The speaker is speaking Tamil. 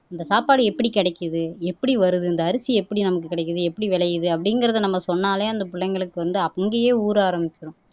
இந்த சாப்பாடு எப்படி கிடைக்குது எப்படி வருது இந்த அரிசி எப்படி நமக்கு கிடைக்குது எப்படி விளையுது அப்படிங்கிறதை நம்ம சொன்னாலே அந்த பிள்ளைங்களுக்கு வந்து அங்கேயே ஊற ஆரம்பிச்சிடும்